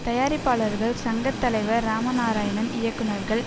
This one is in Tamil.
தயாரிப்பாளர்கள் சங்க தலைவர் இராமநாராயணன் இயக்குனர்கள்